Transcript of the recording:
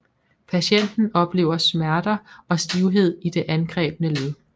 Patienten oplever smerter og stivhed i det angrebne led